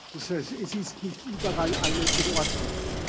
Das heißt, es ist nicht überall alles in Ordnung.